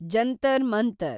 Jantar Mantar